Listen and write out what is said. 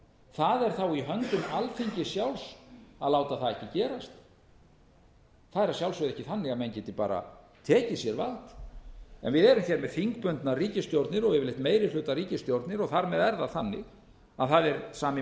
það er í höndum alþingis sjálfs að láta það ekki gerast það er að sjálfsögðu ekki þannig að menn geti bara tekið sér vald en við erum hér með þingbundnar ríkisstjórnir og yfirleitt meiri hluta ríkisstjórnir og þar með er það þannig að það er sami